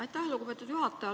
Aitäh, lugupeetud juhataja!